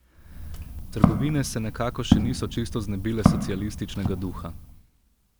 Trgovine se nekako še niso čisto znebile socialističnega duha.